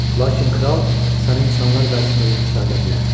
Lakin kral səni insanlar qarşısında yüksəldə bilər.